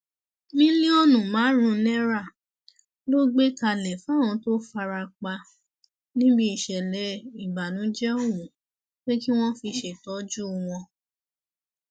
mílíọnù márùnún náírà ló gbé kalẹ fáwọn tó fara pa níbi ìṣẹlẹ ìbànújẹ ọhún pé kí wọn fi ṣètọjú wọn